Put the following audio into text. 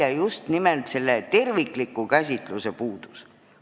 ... on just nimelt tervikliku käsitluse puudus.